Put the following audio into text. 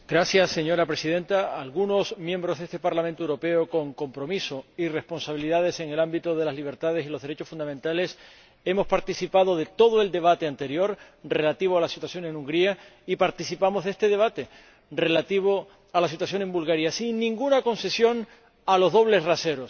Señora Presidenta, algunos miembros de este Parlamento Europeo, con compromiso y responsabilidades en el ámbito de las libertades y de los derechos fundamentales, hemos participado en todo el debate anterior, relativo a la situación en Hungría, y participamos en este debate, relativo a la situación en Bulgaria, sin ninguna concesión a los dobles raseros.